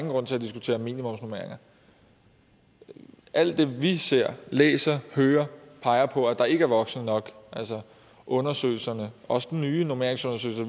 grund til at diskutere minimumsnormeringer alt det vi ser læser og hører peger på at der ikke er voksne nok altså undersøgelserne også den nye normeringsundersøgelse